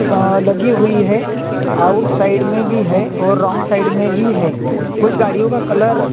आ लगी हुई है आइट साइड में भी है और रौंग साइड में भी है कुछ गाड़ियों का कलर--